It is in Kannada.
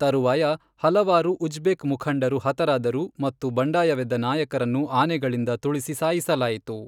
ತರುವಾಯ, ಹಲವಾರು ಉಜ್ಬೆ಼ಕ್ ಮುಖಂಡರು ಹತರಾದರು ಮತ್ತು ಬಂಡಾಯವೆದ್ದ ನಾಯಕರನ್ನು ಆನೆಗಳಿಂದ ತುಳಿಸಿ ಸಾಯಿಸಲಾಯಿತು.